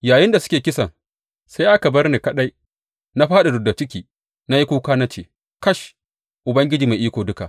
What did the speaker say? Yayinda suke kisan sai aka bar ni kaɗai, na fāɗi rubda ciki, na yi kuka na ce, Kash, Ubangiji Mai Iko Duka!